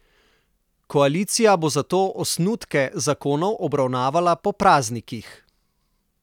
Koalicija bo zato osnutke zakonov obravnavala po praznikih.